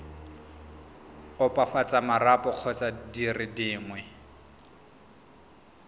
opafatsa marapo kgotsa dire dingwe